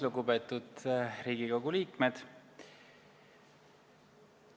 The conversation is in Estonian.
Lugupeetud Riigikogu liikmed!